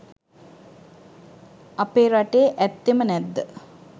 අපේ රටේ ඇත්තෙම නැද්ද?